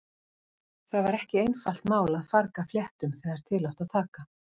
Það var ekki einfalt mál að farga fléttum þegar til átti að taka.